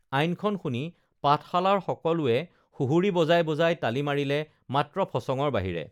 আইনখন শুনি পাঠশালাৰ সকলোৱে সুহুৰি বজাই বজাই তালি মাৰিলে মাত্ৰ ফচঙৰ বাহিৰে